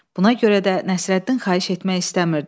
Buna görə də Nəsrəddin xahiş etmək istəmirdi.